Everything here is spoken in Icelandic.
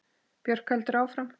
Björk heldur áfram.